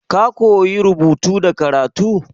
Ka koya rubutu da karatu?